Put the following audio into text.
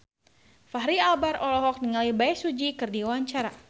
Fachri Albar olohok ningali Bae Su Ji keur diwawancara